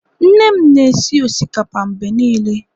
nne m na-esi osikapa mgbe niile